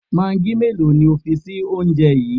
Magí mélòó ni o fi sí oúnje yi?